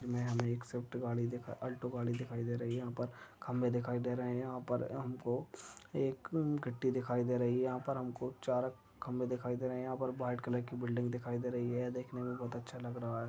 Alto गाड़ी दिखाई दे रही है खंबे दिखाई दे रहे है यहा पर हमको एक गद्दी दिखाई दे रही है यहा पर हमको चार खंबे दिखाई दे रही है यहा पर व्हाइट कलर की बिल्डिंग दिखाई दे रही है ये देखने मे बोहत अच्छा लग रहा है।